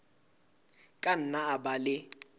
ka nna a ba le